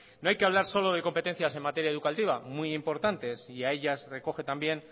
no hay que hablar solo de competencias en materia educativa muy importantes y a ellas recoge también